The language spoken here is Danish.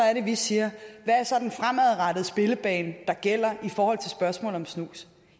er det vi siger hvad er så den fremadrettede spillebane der gælder i forhold til spørgsmålet om snus